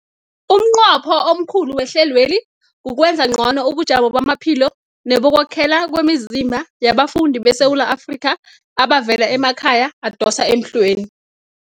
Umnqopho omkhulu wehlelweli kukwenza ngcono ubujamo bamaphilo nebokwakhela kwemizimba yabafundi beSewula Afrika abavela emakhaya adosa emhlweni.